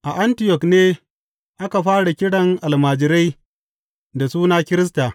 A Antiyok ne aka fara kiran almajirai da suna Kirista.